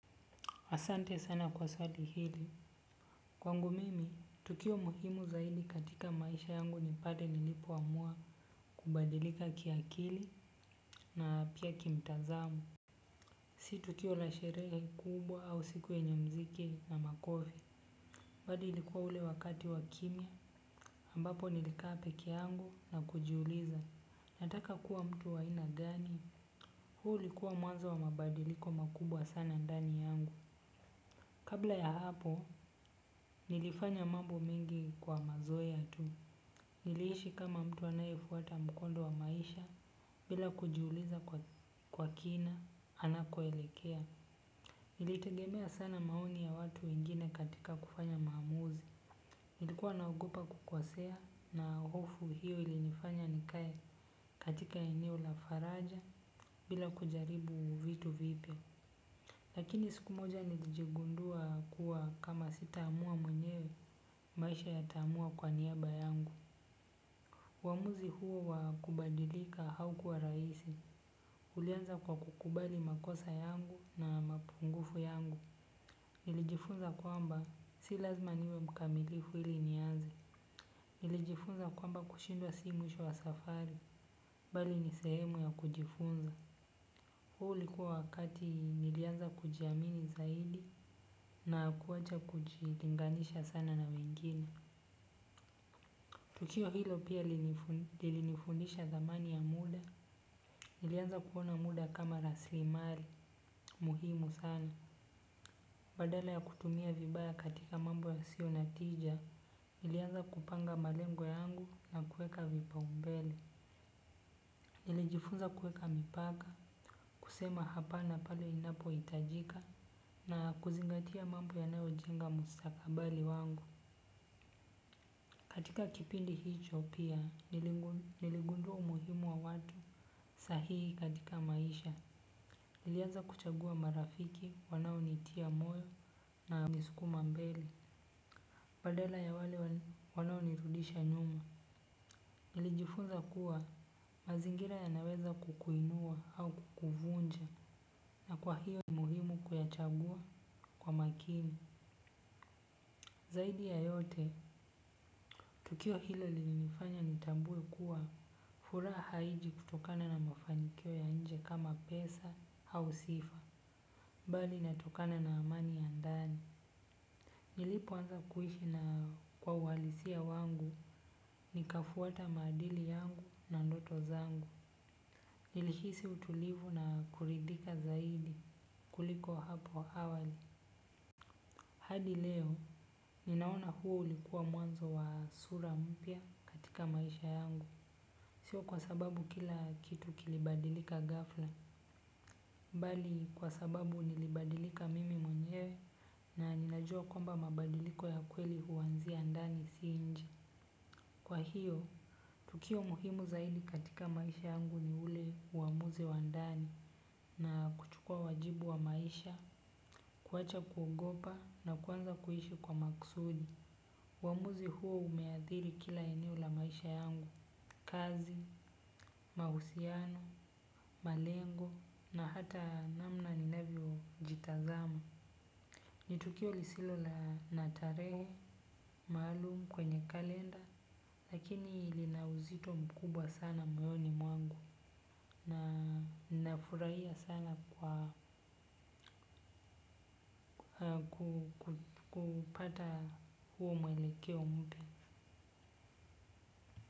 Asante sana kwa swali hili. Kwangu mimi, tukio muhimu zaidi katika maisha yangu ni pale nilipoamua kubadilika kiakili na pia kimtazamo. Si tukio la sherehe kubwa au siku yenye muziki na makofi. Bali ilikuwa ule wakati wa kimya, ambapo nilikaa peke yangu na kujiuliza. Nataka kuwa mtu wa ina gani? Huu ulikuwa mwanzo wa mabadiliko makubwa sana ndani yangu. Kabla ya hapo, nilifanya mambo mengi kwa mazoea tu. Niliishi kama mtu anayefuata mkondo wa maisha bila kujiuliza kwa kina anakoelekea. Nilitegemea sana maoni ya watu wengine katika kufanya maamuzi. Nilikuwa naogopa kukosea na hofu hiyo ilinifanya nikae katika eneo la faraja bila kujaribu vitu vipya. Lakini siku moja nilijigundua kuwa kama sitaamua mwenyewe maisha yataamua kwa niaba yangu. Uamuzi huo wa kubadilika haukuwa rahisi, ulianza kwa kukubali makosa yangu na mapungufu yangu. Nilijifunza kwamba, si lazima niwe mkamilifu ili nianze. Nilijifunza kwamba kushindwa si mwisho wa safari, bali ni sehemu ya kujifunza. Huu ulikuwa wakati nilianza kujiamini zaidi na kuacha kujilinganisha sana na wengine. Tukio hilo pia lilinifundisha thamani ya muda, nilianza kuona muda kama rasilimali, muhimu sana. Badala ya kutumia vibaya katika mambo yasiyo na tija, nilianza kupanga malengo yangu na kuweka vipaumbele. Nilijifunza kuweka mipaka kusema hapana pale ninapohitajika na kuzingatia mambo yanayojenga mustakabali wangu. Katika kipindi hicho pia niligundua umuhimu wa watu sahihi katika maisha nilianza kuchagua marafiki wanaonitia moyo na kunisukuma mbele badala ya wale wanaonirudisha nyuma nilijifunza kuwa mazingira yanaweza kukuinua au kukuvunja. Na kwa hiyo ni muhimu kuyachagua kwa makini. Zaidi ya yote, tukio hilo lilinifanya nitambue kuwa furaha haiji kutokana na mafanikio ya nje kama pesa au sifa. Bali inatokana na amani ya ndani. Nilipoanza kuishi na kwa uhalisia wangu. Nikafuata maadili yangu na ndoto zangu. Nilihisi utulivu na kuridhika zaidi kuliko hapo awali. Hadi leo ninaona huo ulikuwa mwanzo wa sura mpya katika maisha yangu. Sio kwa sababu kila kitu kilibadilika ghafla. Bali kwa sababu nilibadilika mimi mwenyewe na ninajua kwamba mabadiliko ya kweli huanzia ndani si nje. Kwa hiyo, tukio muhimu zaidi katika maisha yangu ni ule uamuzi wa ndani na kuchukua wajibu wa maisha, kuwacha kugopa na kuanza kuishi kwa makusudi. Uamuzi huo umeathiri kila eneo la maisha yangu, kazi, mahusiano, malengo na hata namna ninavyojitazama. Ni tukio lisilo la na tarehe, maalum kwenye kalenda lakini lina uzito mkubwa sana moyoni mwangu na nafurahia sana kwa kupata huo mwelekeo mpya.